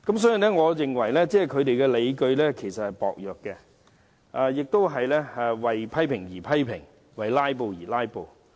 所以，我認為他們批評的理據薄弱，只是為批評而批評，為"拉布"而"拉布"。